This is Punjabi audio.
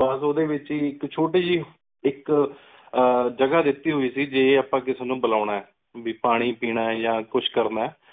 ਬੱਸ ਓਦੇ ਵਿਚ ਹੀ ਇਕ ਛੋਟੀ ਜੀ ਇਕ ਆਹ ਜਗਾ ਦਿਤੀ ਹੋਈ ਸੀ ਜੇ ਅਪ੍ਪਾਂ ਕਿਸੀ ਨੂ ਬੁਲਾਨਾ ਹੈ ਵੀ ਪਾਣੀ ਪੀਨਾ ਹੈ ਯਾ ਕੁਛ ਕਰਨਾ ਹੈ।